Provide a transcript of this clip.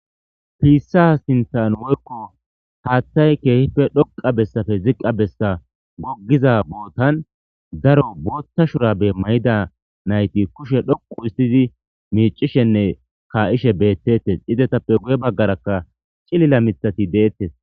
Piissa sintan moykko haattay keehife dhoqa bessafe ziqqa bessa goggiza bootan daro bootta shurabe may7ida nayti kushe dhoqu istidi miicishenne kaa7ishe beettettes izetappe guye baggarakka cilila mithati deettes.